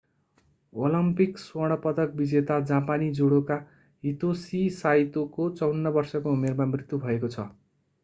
Olympic स्वर्ण पदक विजेता जापानी जुडोका हितोसी साइतोको 54 वर्षको उमेरमा मृत्यु भएको छ